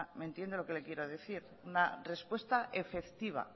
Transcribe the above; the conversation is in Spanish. me entiende lo que le quiero decir una respuesta efectiva